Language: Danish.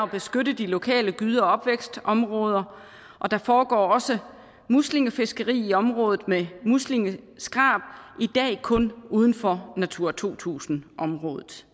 beskytte de lokale gyde og opvækstområder der foregår også muslingefiskeri i området med muslingeskrab i dag kun uden for natura to tusind området